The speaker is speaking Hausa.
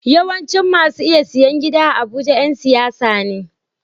Yawancin masu iya siyan gida a abuja Yan siyasa ne